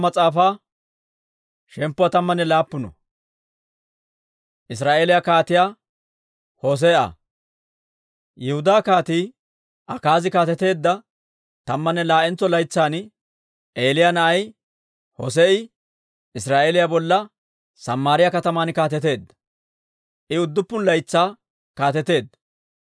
Yihudaa Kaatii Akaazi kaateteedda tammanne laa'entso laytsan, Elah na'ay Hossee'i Israa'eeliyaa bolla Samaariyaa kataman kaateteedda; I udduppun laytsaa kaateteedda.